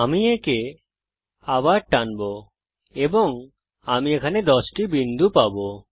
আমি একে আবার টানবো এবং আমি এখানে 10টি বিন্দু পাবো